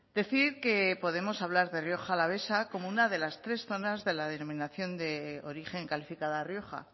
decir que podemos hablar de rioja alavesa como una de las tres zonas de la denominación de origen calificada rioja